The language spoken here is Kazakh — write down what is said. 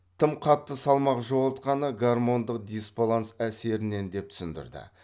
тым қатты салмақ жоғалтқаны гармондық дисбаланс әсерінен деп түсіндірді